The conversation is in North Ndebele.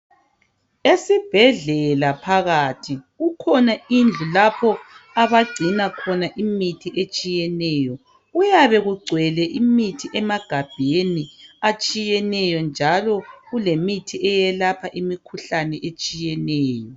Esibhedlela phakathi kukhona indlu lapho abangcina khona imithi etshiyeneyo kuyabe kugcwele imithi emagabheni atshiyeneyo njalo kulemithi eyelapha imikhuhlane etshiyeneyo.